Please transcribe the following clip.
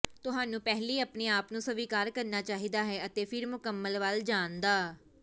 ਤੁਹਾਨੂੰ ਪਹਿਲੀ ਆਪਣੇ ਆਪ ਨੂੰ ਸਵੀਕਾਰ ਕਰਨਾ ਚਾਹੀਦਾ ਹੈ ਅਤੇ ਫਿਰ ਮੁਕੰਮਲ ਵੱਲ ਜਾਣ ਦਾ